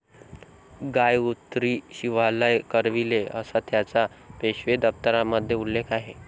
गाय उतरी शिवालय करविले'असा त्याचा पेशवे दप्तरामध्ये उल्लेख आहे.